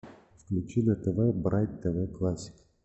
включи на тв брайт тв классик